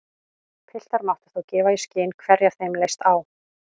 Piltar máttu þá gefa í skyn hverja þeim leist á.